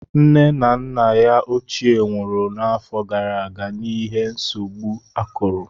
Nne na nna ya ochie nwụrụ afọ gara aga n'ihi nsogbu akuru